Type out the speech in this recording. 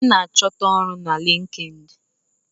A ná achọta ọrụ na LinkedIn.